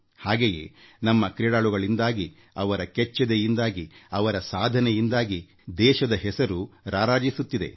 ಹಾಗೆಯೇ ನಮ್ಮ ಕ್ರೀಡಾಳುಗಳಿಂದಾಗಿ ಅವರ ಕೆಚ್ಚೆದೆಯಿಂದಾಗಿ ಅವರ ಸಾಧನೆಯಿಂದಾಗಿ ದೇಶದ ಹೆಸರು ರಾರಾಜಿಸುತ್ತಿದೆ